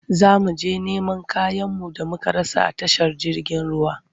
Za mu je neman kayanmu da muka rasa a tashar jirgin ruwa.